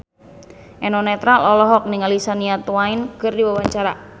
Eno Netral olohok ningali Shania Twain keur diwawancara